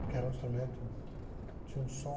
Porque era um instrumento, tinha um som...